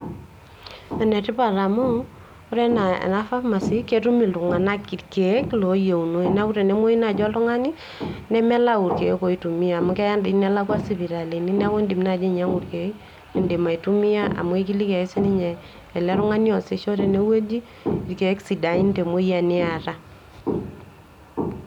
Enetipat amuu ore enaa ena pharmacy ketum iltung'anak irkeek looyieunoyu, neeku tenemuoyu naaji oltung'ani nemelau irkeek oitumia amau keya toi nelekwa sipitalini neeku iindim naaji ainyiang'u irkeek liindim aitumia amu aikiliki ake sininye ele tungun'ani oosisho tenewueji irkeek sidain te emoyian niata.